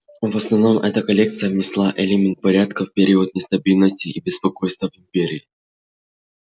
в основном эта коалиция внесла элемент порядка в период нестабильности и беспокойств в империи